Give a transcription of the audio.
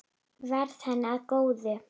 Verði henni að góðu.